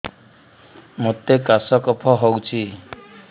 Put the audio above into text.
ମୋତେ କାଶ କଫ ହଉଚି